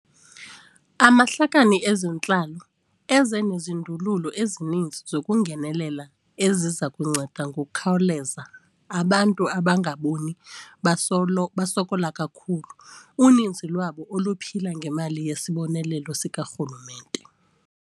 Amahlakani ezentlalo eze nezindululo ezininzi zokungenelela eziza kunceda ngokukhawuleza abantu abangabona basokola kakhulu, uninzi lwabo oluphila ngemali yesibonelelo sikarhulumente.